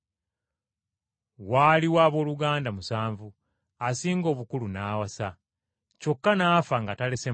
Waaliwo abooluganda musanvu, asinga obukulu n’awasa, kyokka n’afa nga talese mwana.